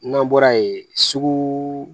N'an bɔra yen sugu